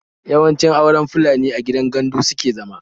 Yawanci auren Fulani a gidan gandu suke zama